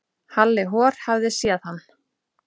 Halli hor hafði séð hann.